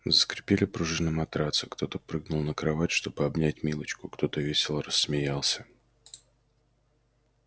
заскрипели пружины матраца кто-то прыгнул на кровать чтобы обнять милочку кто-то весело рассмеялся